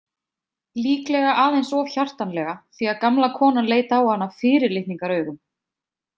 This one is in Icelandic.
Líklega aðeins of hjartanlega því að gamla konan leit á hana fyrirlitningaraugum.